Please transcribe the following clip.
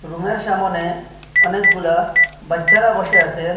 ওনার সামোনে অনেকগুলা বাচ্চারা বসে আসেন ।